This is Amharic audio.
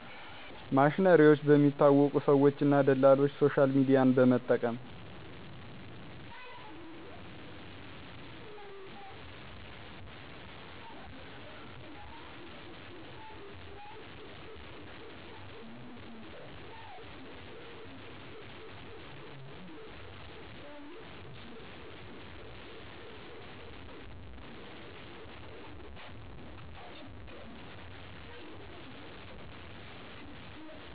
ማሽነሪዎች በሚታወቁ ሰዎች እና ደላሎች ሶሻልሚድያን በመጠቀም